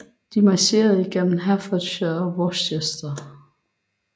De marcherede igennem Herefordshire og ind i Worcestershire